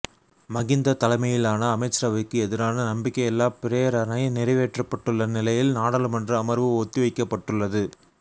மகிந்த தலைமையிலான அமைச்சரவைக்கு எதிரான நம்பிக்கையில்லாப் பிரேரணை நிறைவேற்றப்பட்டுள்ள நிலையில் நாடாளுமன்ற அமர்வு ஒத்திவைக்கப்பட்டுள்ளது